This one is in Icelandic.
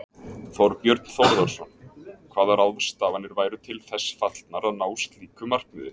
Þorbjörn Þórðarson: Hvaða ráðstafanir væru til þess fallnar að ná slíku markmiði?